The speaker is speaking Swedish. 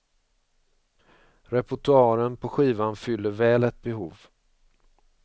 Reportoaren på skivan fyller väl ett behov.